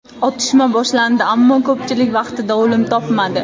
Otishma boshlandi, ammo ko‘pchilik vaqtida o‘lim topmadi.